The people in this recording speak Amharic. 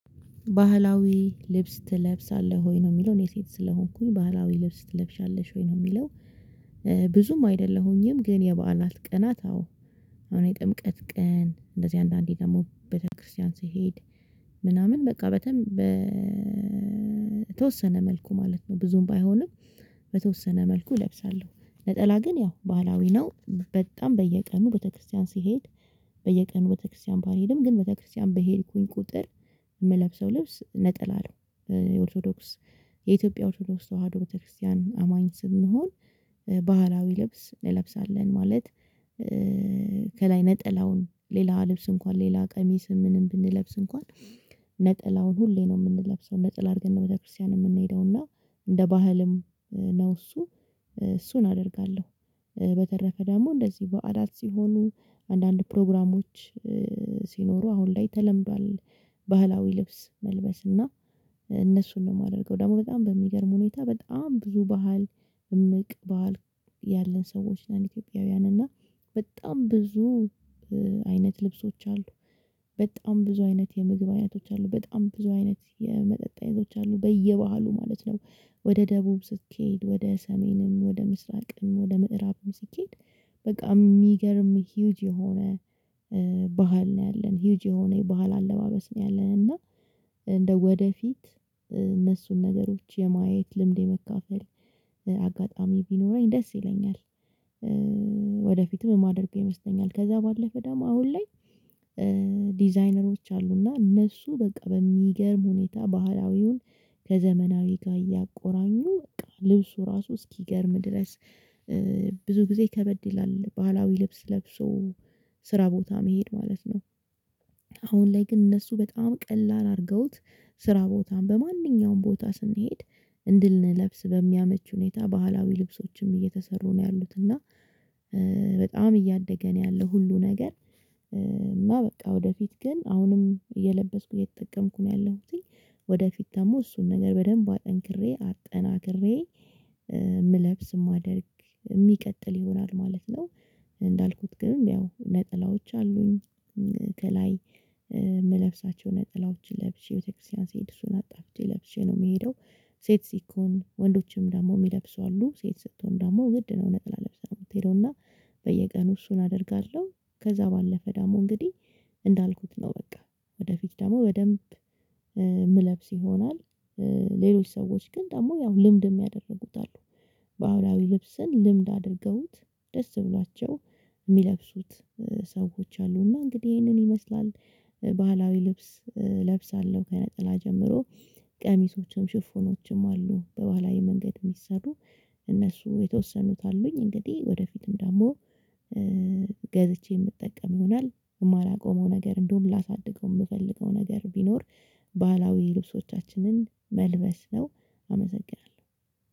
ባህላዊ ልብስ ትለብሳለህ ወይ ነው የሚለው እኔ ሴት ስለሆንኩኝ ባህላዊ ልብስ ትለብሻለሽ ወይ ነው የሚለው? ብዙም አይደለሁኝም ግን የበዓላትት ቀናት አዎ የሆነ የጥምቀት ቀን እንደዚህ አንዳንዴ ደግሞ በተክርስቲያን ስሄድ ምናምን በቃ በደምብ በተወሰነ መልኩ ማለት ነው ብዙም ባይሆንም። በተወሰነ መልኩ እለብሳለሁ ነጠላ ግን ያው ባህላዊ ነው በጣም በየቀኑ ቤተክርስቲያን ስሄድ። በየቀኑ ቤተክርስቲያን ባልሄድም ግን ቤተክርስቲያን በሄድኩኝ ቁጥር የምለብሰው ልብስ ነጥላ ነው። የኦርቶዶክስ የኢትዮጵያ ኦቶዶክስ ተዋህዶ ቤተክርስቲያን አማኝ ስለሆንሁ ባህላዊ ልብስ እንለብሳለን ማለት። ከላይ ነጠላውን ሌላ ልብስ እንኳን ሌላ ቀሚስም ምንም ብንለብስ እንኳን ነጠላውን ሁሌ ነው የምንለብሰው ነጠል አድርገን ነው ቤተክርስቲያን የምንሄደው እና እንደ ባህልም ነው እሱ እሱን አደርጋለሁ። በተረፈ ደግሞ እንደዚህ በዓላት ሲሆኑ አንዳንድ ፕሮግራሞች ሲኖሩ አሁን ላይ ተለምዷል። ባህላዊ ልብስ መልበስ እና እነሱን ነው የማደርገው ደግሞ በጣም በሚገርም ሁኔታ በጣም ብዙ ባህል እምቅ ባህል ያለን ሰዎች ነን። ኢትዮጵያውያን እና በጣም ብዙ አይነት ልብሶች አሉ። በጣም ብዙ አይነት የምግብ አይነቶች አሉ በጣም ብዙ አይነት የመጠጥ አይነቶች አሉ በየባህሉ ማለት ነው። ወደ ደቡብ ስትሄድ ወደ ሰሜንም ወደ ምስራቅም ወደ ምዕራብም ሲትሄድ በጣም የሚገርም ሂዩጅ የሆነ ባህል ነው ያለን ሂዩጅ የሆነ የባህል አለባበስ ነው። ያለን እና እንደው ወደፊት እነሱን ነገሮች የማየት ልምድ የመካፈል አጋጣሚ ቢኖረኝ ደስ ይለኛል። ወደፊትም የማደርገው ይመስለኛል ከዛ ባለፈ ደም አሁን ላይ። ዲዛይነሮች አሉና እነሱ በቃ በሚገርም ሁኔታ ባህላዊውን ከዘመናዊ ጋር እያቆራኙ ልብሱ ራሱ እስኪገርምህ ድረስ ብዙ ጊዜ ከበድ ይላል ባህላዊ ልብስ ለብሶ ስራ ቦታ መሄድ ማለት ነው። አሁን ላይ ግን እነሱ በጣም ቀላል አርገውት ስራ ቦታ በማንኛውም ቦታ ስንሄድ እንድንለብስ በሚያመች ሁኔታ ባህላዊ ልብሶችም እየተሰሩ ነው ያሉት እና በጣም እያደገ ነው ያለው ሁሉ ነገር። እና በቃ ወደፊት ግን አሁንም እየለበስኩ እየተጠቀምኩ ነው ያለሁትኝ ወደፊት ደግሞ እሱን ነገር በደንብ አጠንክሬ አጠናክሬ የምለብስ ማደርግ የሚቀጥል ይሆናል ማለት ነው። እንዳልኩት ግን ያው ነጠላዎች አሉኝ ከላይ እምለብሳቸው ነጠላዎችን ለብሼ ቤተክርስቲያን ስሄድ እሱን አጣፍቼ ለብሼ ነው የምሄደው። ሴት ሲኮን ወንዶችም ደግሞ የሚለብሱ አሉ ሴት ስትሆን ደግሞ ግድ ነው ነጠላ ለብሰህ ነው የምትሄደው እና በየቀኑ እሱን አደርጋለሁ። ከዛ ባለፈ ደግሞ እንግዲህ እንዳልኩት ነው በቃ ወደፊት ደግሞ በደንብ የምለብስ ይሆናል። ሌሎች ሰዎች ግን ደግሞ ያው ልምድም ያደርጉት አሉ። ባህላዊ ልብስን ልምድ አድርገውት ደስ ብሏቸው የሚለብሱት ሰዎች አሉ እና እንግዲህ ይሄንን ይመስላል። ባህላዊ ልብስ እለብሳለሁ ከነጠላ ጀምሮ ቀሚሶችም ሽፎኖችም አሉ በባላዊ መንገድ የሚሰሩ እነሱ የተወሰኑት አሉኝ እንግዲህ ወደፊትም ደግሞ ገዝቼ የምጠቀም ይሆናል የማላቆመው ነገር እንደውም ላሳድገው የምፈልገው ነገር ቢኖር ባህላዊ ልብሶቻችንን መልበስ ነው። አመሰግናለሁ።